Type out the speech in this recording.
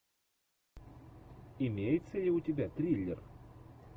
имеется ли у тебя триллер